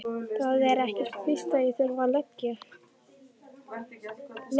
Það er ekkert víst að ég þurfi að leigja.